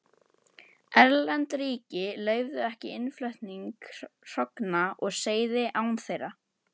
Erlend ríki leyfðu ekki innflutning hrogna og seiða án þeirra.